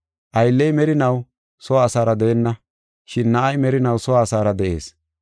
Aylley merinaw soo asaara deenna, shin na7ay merinaw soo asaara de7ees.